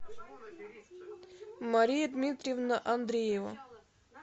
мария дмитриевна андреева